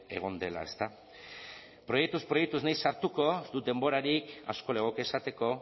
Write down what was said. egon dela ezta proiektuz proiektu ez naiz sartuko ez dut denborarik asko legoke esateko